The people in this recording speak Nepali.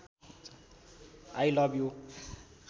I love you